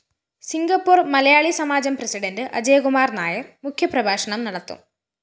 Singapore‍ മലയാളിസമാജം president Ajayakumar‍ Nair‍ മുഖ്യപ്രഭാഷണം നടത്തും